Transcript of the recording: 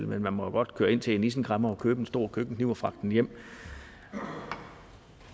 men man må jo godt køre ind til en isenkræmmer og købe en stor køkkenkniv og fragte den hjem